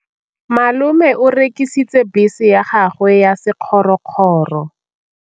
Malome o rekisitse bese ya gagwe ya sekgorokgoro.